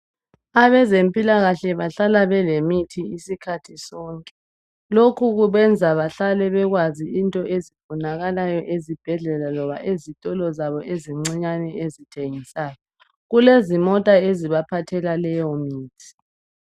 Abezempilakahle bahlala belemithi isikhathi sonke. Lokhu kubenza bahlale bekwazi into ezifunakalayo ezibhedlela loba ezitolo zabo ezincinyane ezithengisayo. Kulezimota ezibaphathela leyo mithi.